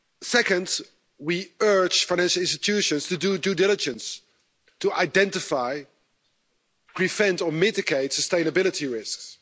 Second, we urge finance institutions to do due diligence to identify, prevent or mitigate sustainability risks.